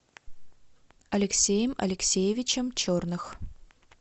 алексеем алексеевичем черных